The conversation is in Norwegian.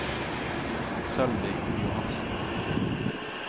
Sølvi Johansen